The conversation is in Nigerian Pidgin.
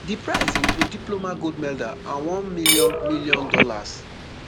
di prize include diploma gold medal and one million million dollars